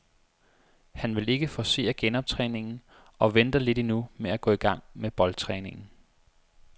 Han vil ikke forcere genoptræningen og venter lidt endnu med at gå i gang med boldtræningen.